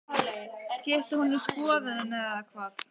Skipti hún um skoðun eða hvað?